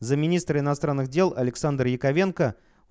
замминистр иностранных дел александр яковенко